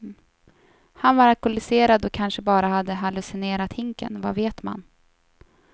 Han var alkoholiserad och kanske bara hade hallucinerat hinken, vad vet man.